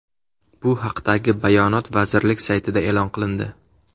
Bu haqdagi bayonot vazirlik saytida e’lon qilindi .